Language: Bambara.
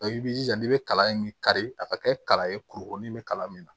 i b'i jija i bɛ kalan in kari a ka kɛ kalan ye kurukurunin bɛ kalan min na